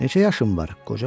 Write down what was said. Neçə yaşın var?